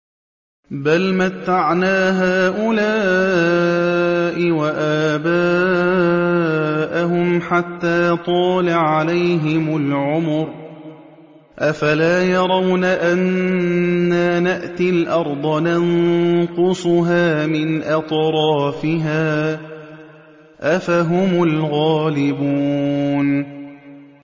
بَلْ مَتَّعْنَا هَٰؤُلَاءِ وَآبَاءَهُمْ حَتَّىٰ طَالَ عَلَيْهِمُ الْعُمُرُ ۗ أَفَلَا يَرَوْنَ أَنَّا نَأْتِي الْأَرْضَ نَنقُصُهَا مِنْ أَطْرَافِهَا ۚ أَفَهُمُ الْغَالِبُونَ